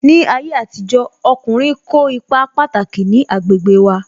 Ní ayé àtijó, ọkùnrin kó ipa pataki ní agbègbè wa